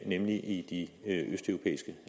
nemlig de østeuropæiske